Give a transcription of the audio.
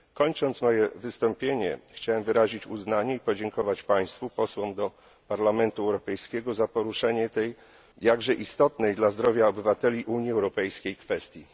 Kończąc moje wystąpienie, chciałem wyrazić uznanie i podziękować Państwu, Posłom do Parlamentu Europejskiego, za poruszenia tej jakże istotnej dla zdrowia obywateli Unii Europejskiej kwestii.